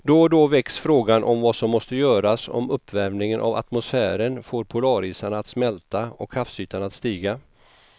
Då och då väcks frågan om vad som måste göras om uppvärmingen av atmosfären får polarisarna att smälta och havsytan att stiga.